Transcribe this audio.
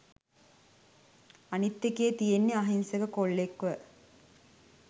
අනිත් එකේ තියෙන්නේ අහිංසක කොල්ලෙක්ව